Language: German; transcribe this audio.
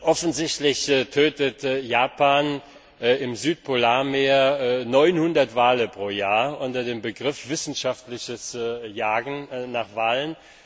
Offensichtlich tötet Japan im Südpolarmeer 900 Wale pro Jahr unter dem Begriff wissenschaftliches Jagen nach Walen.